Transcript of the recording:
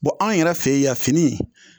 Bɔn anw yɛrɛ fe ye yan fini